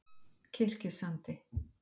Kirkjusandi